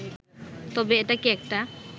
তবে এটাকে একটা